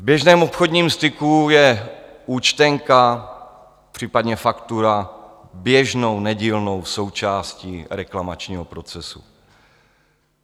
V běžném obchodním styku je účtenka, případně faktura běžnou nedílnou součástí reklamačního procesu.